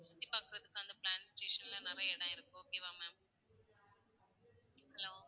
சுத்தி பாக்குறதுக்கு அந்த planetation ல நிறைய இடம் இருக்கு okay வா ma'am hello